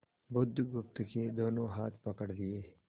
बुधगुप्त के दोनों हाथ पकड़ लिए